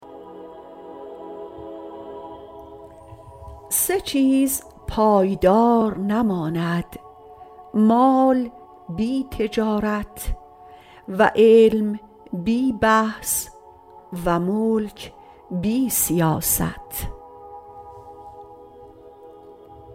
سه چیز پایدار نماند مال بی تجارت و علم بی بحث و ملک بی سیاست